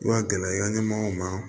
I ka gɛlɛ i ka ɲɛmɔgɔw ma